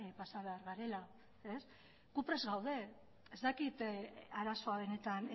pasa behar garela gu prest gaude ez dakit arazoa benetan